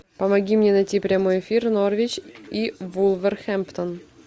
помоги мне найти прямой эфир норвич и вулверхэмптон